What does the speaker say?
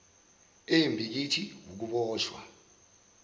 embi kithi wukuboshwa